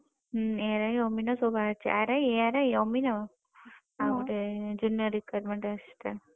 ହୁଁ ଏ ARI ଅମିନ ସବୁ ବାହାରିଛି RI, ARI ଅମିନ ତା ପରେ junior requirement